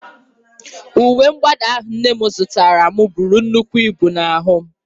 Uwe mwụda ahụ nne m zụtaara m buru nnukwu ibu n'ahụ m.